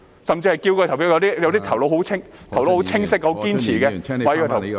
有些長輩的頭腦很清晰、很堅持，他們要投票......